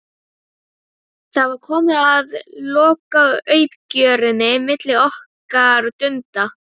Það var komið að lokauppgjörinu milli okkar Dunda.